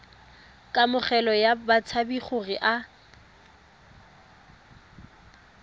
kamogelo ya batshabi gore a